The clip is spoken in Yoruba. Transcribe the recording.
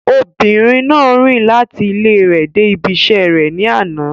Obìnrin náà rìn láti ilẹ rẹ̀ dé ibí iṣẹ́ rẹ̀ ní àná.